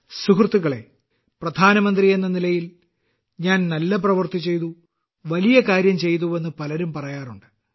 സുഹൃത്തുക്കളേ പ്രധാനമന്ത്രി എന്ന നിലയിൽ ഞാൻ നല്ല പ്രവൃത്തി ചെയ്തു വലിയ കാര്യം ചെയ്തുവെന്ന് പലരും പറയാറുണ്ട്